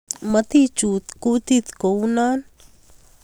Motichut kutit kounon